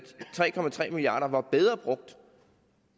tre milliard kroner var bedre brugt